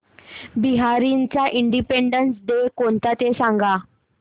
बहारीनचा Independence Day कोणता ते सांगा